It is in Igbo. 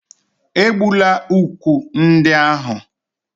Egbula úkwù ndị ahụ